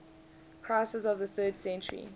crisis of the third century